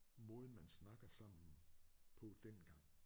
Måden man snakker sammen på dengang